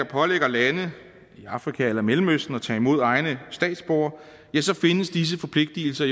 pålægger lande i afrika eller mellemøsten at tage imod egne statsborgere ja så findes disse forpligtelser